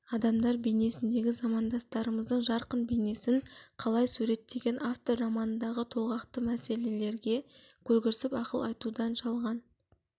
адамдар бейнесіндегі замандастарымыздың жарқын бейнесін қалай суреттеген автор романдағы толғақты мәселелерге көлгірсіп ақыл айтудан жалған